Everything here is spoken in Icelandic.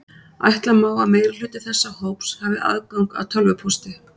Ætla má að meirihluti þessa hóps hafi aðgang að tölvupósti.